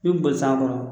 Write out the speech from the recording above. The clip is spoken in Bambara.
I bɛ boli san kɔnɔ